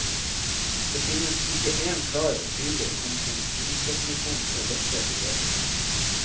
Det finnes ikke én klar og tydelig konsensusdefinisjon på dette begrepet.